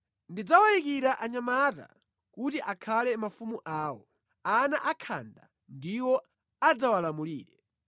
Ndidzawayikira anyamata kuti akhale mafumu awo; ana akhanda ndiwo adzawalamulire.